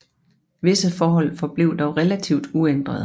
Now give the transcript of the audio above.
Visse forhold forblev dog relativt uændrede